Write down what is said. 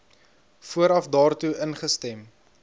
vooraf daartoe ingestem